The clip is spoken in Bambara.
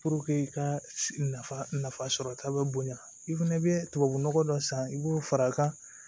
i ka nafa sɔrɔta bɛ bonya i fɛnɛ bɛ tubabunɔgɔ dɔ san i b'o far'a kan